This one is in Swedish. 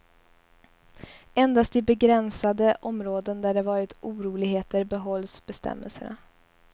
Endast i begränsade områden där det varit oroligheter behålls bestämmelserna.